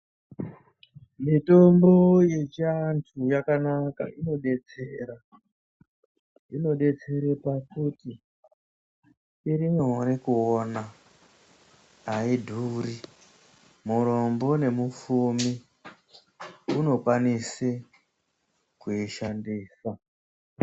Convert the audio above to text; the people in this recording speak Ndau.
Mitombo yechiantu yakanaka inobetsera inobetsera pakuti irinyore kuona haidhuri, murombo nemupfumi unokwanise kuishandisa.